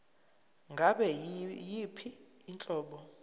ngabe yiyiphi inhlobo